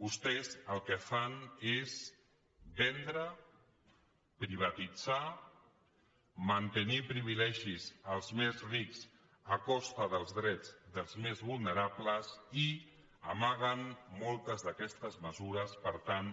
vostès el que fan és vendre privatitzar mantenir privilegis als més rics a costa dels drets dels més vulnerables i amaguen moltes d’aquestes mesures per tant